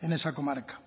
en esa comarca